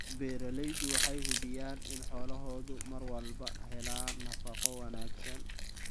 Beeraleydu waxay hubiyaan in xoolahoodu mar walba helaan nafaqo wanaagsan.